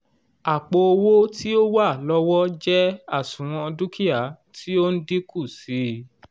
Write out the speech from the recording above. àpò owó tí ó wà lọ́wọ́ jẹ́ àṣùwọ̀n dúkìá tí ó n dínkù sí i